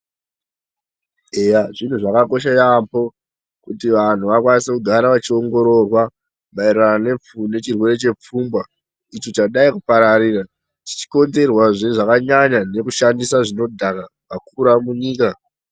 Eya zviro zvakakosha yaamho kuti vantu vakwanise kugara vachiongororwa maererano nechirwere chepfungwa icho chadai kupararira zvichikonzerwa nekushandisa zvinodhaka kwakura munyika